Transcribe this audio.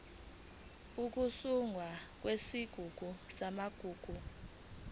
ukusungulwa kwesigungu samagugu